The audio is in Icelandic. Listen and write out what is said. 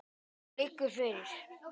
Það liggur fyrir.